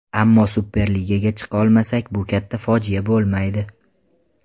Ammo Superligaga chiqa olmasak, bu katta fojia bo‘lmaydi.